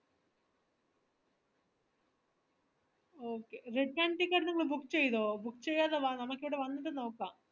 okay return ticket നിങ്ങൾ book ചെയ്തോ book ചെയ്യാതെ വാ നമക് ഇവിടെ വന്നിട്ട് നോക്കാം